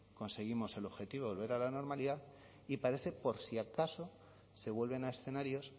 conseguimos el objetivo volver a la normalidad y para ese por si acaso se vuelven a escenarios